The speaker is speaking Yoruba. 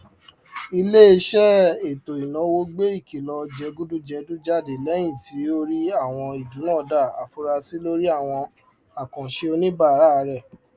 iléiṣẹ etoináwó gbe ìkìlọ jégúdùjẹdú jáde lẹyìn tó rí àwọn ìdúnàdàá afurasi lórí àwọn àkàǹṣe oníbàárà rẹ